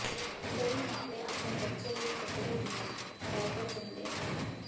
ਕਈ ਮਾਪੇ ਆਪਣੇ ਬੱਚੇ ਲਈ ਕੱਪੜੇ ਦੀਆਂ ਡਾਇਪਰ ਚੁਣਦੇ ਹਨ